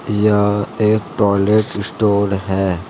यह एक toilet store है।